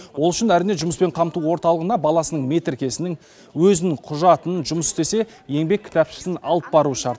ол үшін әрине жұмыспен қамту орталығына баласының метіркесінің өзінің құжатын жұмыс істесе еңбек кітапшасын алып баруы шарт